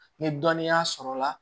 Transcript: Ni dɔnniya sɔrɔla la